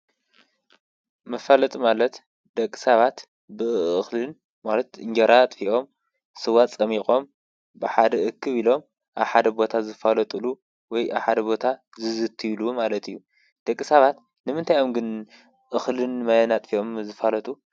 መፋለጢ ማለት ደቂ ሰባት ብእኽልን ማለት እንጀራ ኣጥፊኦም ስዋ ፆሚቖም ብሓደ እክብ ኢሎም ኣብ ሓደ ቦታ ዝፋለጡሉ ወይ ኣብ ሓደ ቦታ ዝዝትይሉ ማለት እዩ ደቂ ሰባት ንምንታይ እዮም ግን እኽልን ማይን ኣጥፊኦም ዝፋለጡ ?